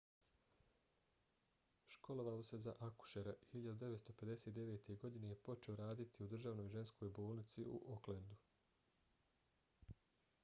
školovao se za akušera i 1959. godine je počeo raditi u državnoj ženskoj bolnici u aucklandu